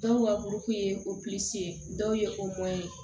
Dɔw ka kuru kun ye dɔw ye o bɔn ye